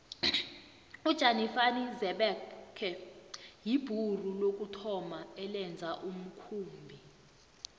ujanifani xebekhe yibhuru lokuthoma elenza umkhumbi